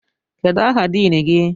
Kedụ aha diin gị?